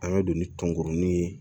An ka don ni tɔnkurunin ye